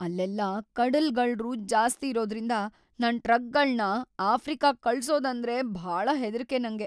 ‌ಅಲ್ಲೆಲ್ಲ ಕಡಲ್ಗಳ್ರು ಜಾಸ್ತಿ ಇರೋದ್ರಿಂದ ನನ್ ಟ್ರಕ್‌ಗಳ್ನ ಆಫ್ರಿಕಾಗ್ ಕಳ್ಸೋದಂದ್ರೆ ಭಾಳ ಹೆದ್ರಿಕೆ ನಂಗೆ.